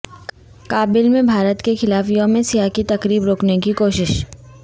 کابل میں بھارت کے خلاف یوم سیاہ کی تقریب روکنےکی کوشش